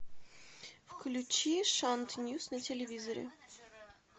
включи шант ньюс на телевизоре